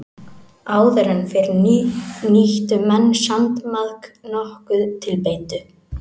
Áður fyrr nýttu menn sandmaðk nokkuð til beitu.